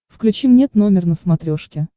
включи мне т номер на смотрешке